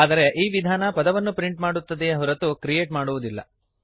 ಆದರೆ ಈ ವಿಧಾನ ಪದವನ್ನು ಪ್ರಿಂಟ್ ಮಾಡುತ್ತದೆಯೇ ಹೊರತು ಕ್ರಿಯೇಟ್ ಮಾಡುವುದಿಲ್ಲ